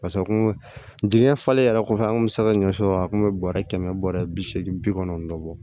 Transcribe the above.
pase kun digɛn falen yɛrɛ kɔfɛ an kun be se ka ɲɔ sɔrɔ a kun be bɔrɛ kɛmɛ bɔrɛ bi seegin bi kɔnɔntɔn bɔ